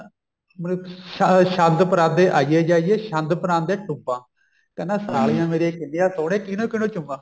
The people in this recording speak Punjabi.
ਮਤਲਬ ਸ਼ੰਦ ਪਰਾਂਦੇ ਆਈਏ ਜਾਈਏ ਸ਼ੰਦ ਪਰਾਂਦੇ ਟੁੰਬਾ ਕਹਿੰਦਾ ਸਾਲੀਆਂ ਮੇਰਿਆ ਕਿੰਨੀਆ ਸੋਹਣੀਆ ਕਿੰਹਨੂ ਕਿੰਹਨੂ ਚੁੰਮਾ